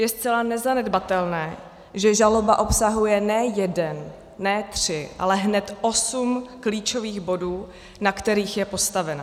Je zcela nezanedbatelné, že žaloba obsahuje ne jeden, ne tři, ale hned osm klíčových bodů, na kterých je postavena.